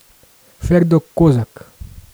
Ferdo Kozak.